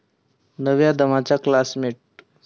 नव्या दमाचे 'क्लासमेट्स'!